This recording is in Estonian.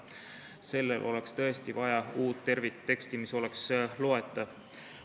Tõesti oleks vaja uut tervikteksti, mis oleks loetav.